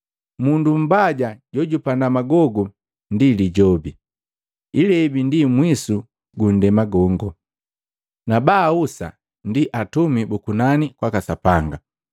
Mundu mbaja jojupanda magogu ndi Lijobi. Ilebi ndi mwisu gu nndema gongo, na baahusa ndi Atumi bu kunani kwaka Sapanga.